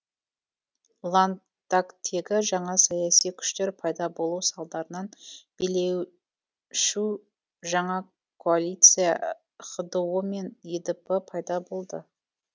ландактегі жаңа саяси күштер пайда болу салдарынан билей шу жаңа коалиция хдо мен едп пайда болды